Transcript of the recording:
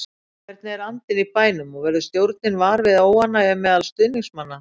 Hvernig er andinn í bænum og verður stjórnin var við óánægju meðal stuðningsmanna?